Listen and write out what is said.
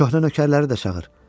Köhnə nökərləri də çağır.